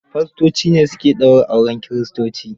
Fastoci ne su ke daura auren kiristoci.